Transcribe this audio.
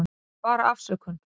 Þetta er bara afsökun.